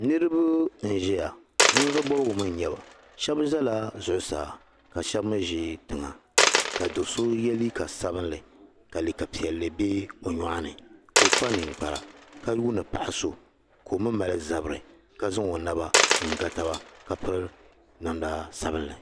Niriba n ʒia ninvuɣu bɔbigu mi nyɛba shɛbi zala zuɣu saa ka shɛb mi za tiŋa ka do ye liika sabinli ka liika piɛli be o nyɔɣu ni ka o ka o kpa ninkpara ka yuuni paɣa so ka o mi mali zabiri ka zaŋ o naba n ga taba ka piri namda sabinli